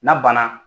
N'a banna